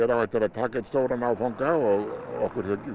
á eftir að taka einn stóran áfanga og okkur þykir